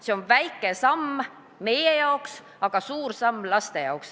See on väike samm meie jaoks, aga suur samm laste jaoks.